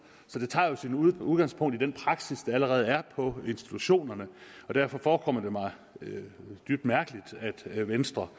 så det tager jo sit udgangspunkt i den praksis der allerede er på institutionerne derfor forekommer det mig dybt mærkeligt at venstre